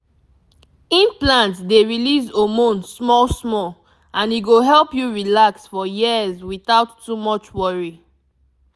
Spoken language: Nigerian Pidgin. implant dey release hormone small small and e go help you relax for years without too much worry.